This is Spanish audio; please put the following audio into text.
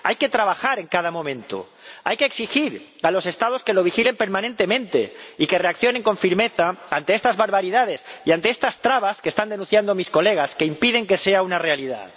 Hay que trabajar en cada momento, hay que exigir a los Estados que lo vigilen permanentemente y que reaccionen con firmeza ante estas barbaridades y ante estas trabas que están denunciando mis colegas, que impiden que sea una realidad.